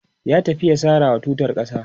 ya tafi ya sarawa tutar ƙasa